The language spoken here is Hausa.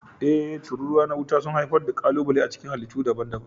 E, tururuwa na wuta sun haifar da ƙalubale a cikin halittu daban-daban.